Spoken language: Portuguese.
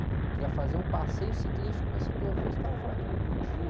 Queria fazer um passeio ciclístico na ciclovia e os caras falaram que não podia.